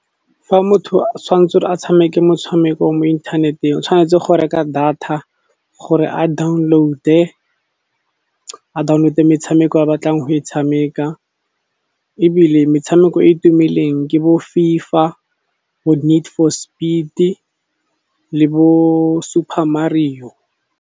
Fa motho tshwanetse a tshameke motshameko mo inthaneteng, o tshwanetse go reka data gore a download-e metshameko a batlang go e tshameka. Ebile metshameko e e tumileng ke bo FIFA, bo need for speed le bo super mario.